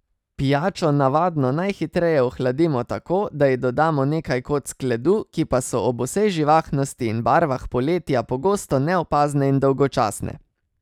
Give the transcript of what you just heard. Pijačo navadno najhitreje ohladimo tako, da ji dodamo nekaj kock ledu, ki pa so ob vsej živahnosti in barvah poletja pogosto neopazne in dolgočasne.